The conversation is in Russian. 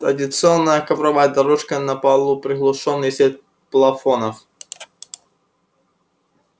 традиционная ковровая дорожка на полу приглушённый свет плафонов